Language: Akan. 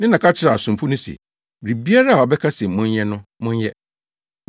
Ne na ka kyerɛɛ asomfo no se, “Biribiara a ɔbɛka se monyɛ no, monyɛ.”